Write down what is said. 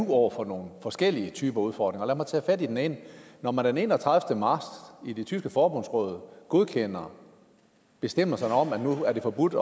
over for nogle forskellige typer udfordringer og lad mig tage fat i den ene når man den enogtredivete marts i det tyske forbundsråd godkendte bestemmelsen om at nu er det forbudt